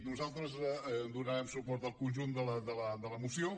nosaltres donarem suport al conjunt de la moció